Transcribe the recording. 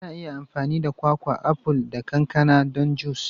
Ana iya amfani da kwakwa, aful, da kankana don jus.